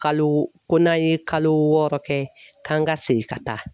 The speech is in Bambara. Kalo ko n'an ye kalo wɔɔrɔ kɛ k'an ka segin ka taa.